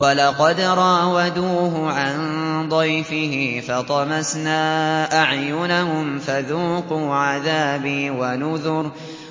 وَلَقَدْ رَاوَدُوهُ عَن ضَيْفِهِ فَطَمَسْنَا أَعْيُنَهُمْ فَذُوقُوا عَذَابِي وَنُذُرِ